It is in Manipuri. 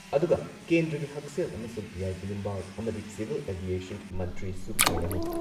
ꯑꯗꯨꯨꯒ ꯀꯦꯟꯗ꯭ꯔꯒꯤ ꯍꯛꯁꯦꯜ ꯑꯃꯁꯨꯡ ꯌꯥꯏꯐ ꯌꯨꯝꯕꯥꯜ ꯑꯃꯗꯤ ꯁꯤꯚꯤꯜ ꯑꯦꯚꯤꯌꯦꯁꯟ ꯃꯟꯇ꯭ꯔꯤꯁꯨ ꯑꯣꯏꯔꯝꯃꯤ ꯫